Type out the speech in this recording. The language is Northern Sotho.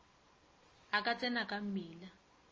a ka tsena ka mmila